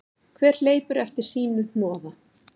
Hver hleypur eftir sínu hnoða.